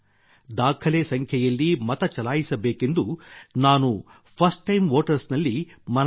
ದಾಖಲೆ ಸಂಖ್ಯೆಯಲ್ಲಿ ಮತ ಚಲಾಯಿಸಬೇಕೆಂದು ನಾನು ಕೂಡಾ ಫರ್ಸ್ಟ್ ಟೈಮ್ ವೋಟರ್ಸ್ ಗಳಲ್ಲಿ ಮನವಿ ಮಾಡುತ್ತೇನೆ